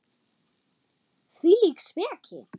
Hvílík speki!